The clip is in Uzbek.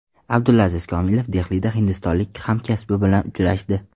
Abdulaziz Komilov Dehlida hindistonlik hamkasbi bilan uchrashdi.